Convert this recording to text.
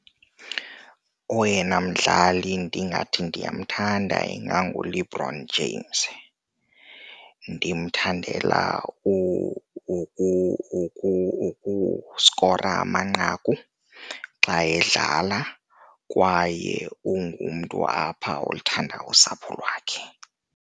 Oyena mdlali ndingathi ndiyamthanda inganguLebron James. Ndimthandela ukuskora amanqaku xa edlala kwaye ungumntu apha oluthandayo usapho lwakhe.